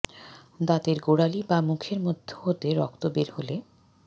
দাঁতের গোড়ালী বা মুখের মধ্য হতে রক্ত বের হলে